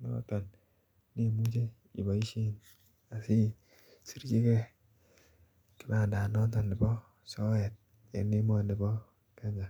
ne Imuche iboisien isirchinengei kibandet ab soet en emoni bo Kenya.